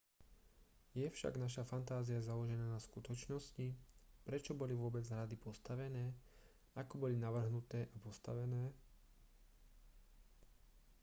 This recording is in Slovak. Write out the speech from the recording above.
je však naša fantázia založená na skutočnosti prečo boli vôbec hrady postavené ako boli navrhnuté a postavené